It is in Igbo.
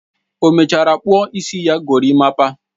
O mechara kpuo isi ya gorimapa?